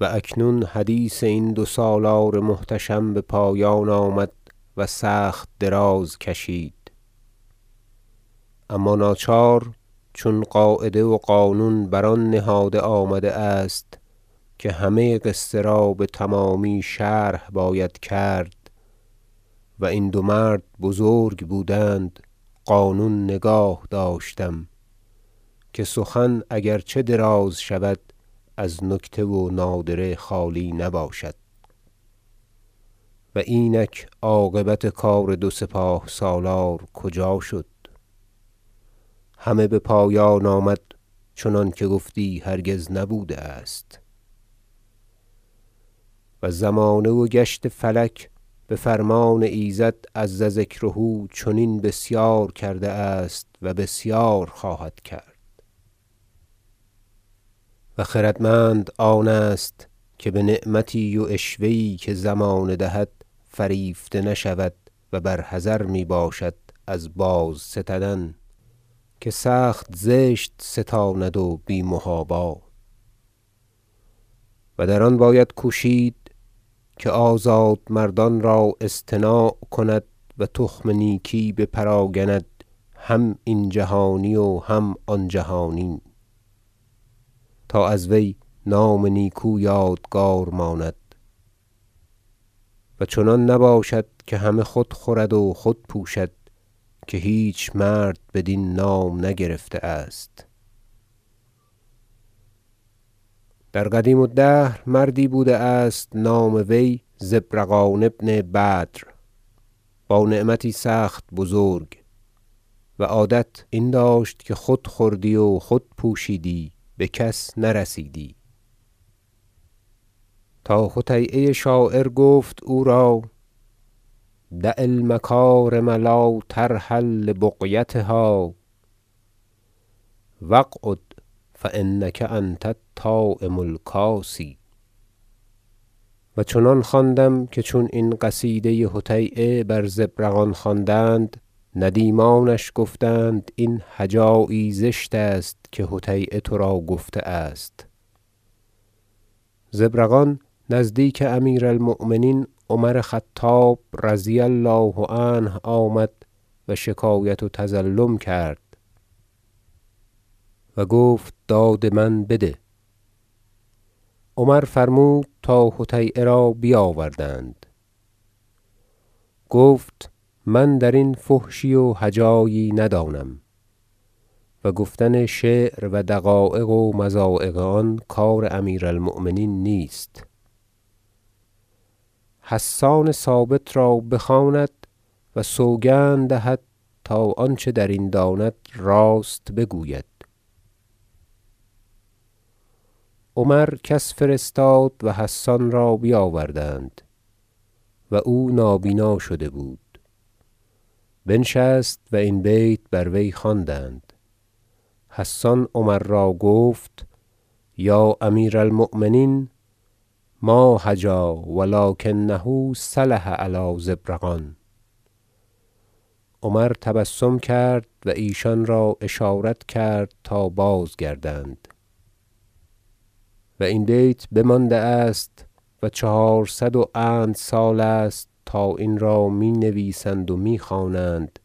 و اکنون حدیث این دو سالار محتشم بپایان آمد و سخت دراز کشید اما ناچار چون قاعده و قانون بر آن نهاده آمده است که همه قصه را بتمامی شرح باید کرد و این دو مرد بزرک بودند قانون نگاه داشتم که سخن اگرچه دراز شود از نکته و نادره خالی نباشد و اینک عاقبت کار دو سپاه سالار کجا شد همه بپایان آمد چنانکه گفتی هرگز نبوده است و زمانه و گشت فلک بفرمان ایزد عزذکره چنین بسیار کرده است و بسیار خواهد کرد و خردمند آن است که بنعمتی و عشوه یی که زمانه دهد فریفته نشود و بر حذر می باشد از بازستدن که سخت زشت ستاند و بی محابا و در آن باید کوشید که آزادمردان را اصطناع کند و تخم نیکی بپراگند هم این جهانی و هم آن جهانی تا از وی نام نیکو یادگار ماند و چنان نباشد که همه خود خورد و خود پوشد که هیچ مرد بدین نام نگرفته است در قدیم الدهر مردی بوده است نام وی زبرقان بن بدر با نعمتی سخت بزرک و عادت این داشت که خود خوردی و خود پوشیدی بکس نرسیدی تا حطییه شاعر گفت او را شعر دع المکارم لا ترحل لبغیتها و اقعد فانک انت الطاعم الکاسی و چنان خواندم که چون این قصیده حطییه بر زبرقان خواندند ندیمانش گفتند این هجایی زشت است که حطییه ترا گفته است زبرقان نزدیک امیر المؤمنین عمر خطاب رضی الله عنه آمد و شکایت و تظلم کرد گفت داد من بده عمر فرمود تا حطییه را بیاوردند گفت من درین فحشی و هجایی ندانم و گفتن شعر و دقایق و مضایق آن کار امیر المؤمنین نیست حسان ثابت را بخواند و سوگند دهد تا آنچه درین داند راست بگوید عمر کس فرستاد و حسان را بیاوردند- و او نابینا شده بود- بنشست و این بیت بر وی خواندند حسان عمر را گفت یا امیر المؤمنین ما هجا و لکنه سلح علی زبرقان عمر تبسم کرد و ایشان را اشارت کرد تا بازگردند و این بیت بمانده است و چهارصد و اند سال است تا این را می نویسند و می خوانند